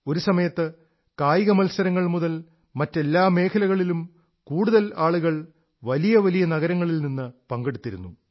ഒരു സമയത്ത് കായിക മത്സരങ്ങൾ മുതൽ മറ്റെല്ലാ മേഖലകളിലും കൂടുതൽ ആളുകൾ വലിയ വലിയ നഗരങ്ങളിൽ നിന്ന് പങ്കെടുത്തിരുന്നു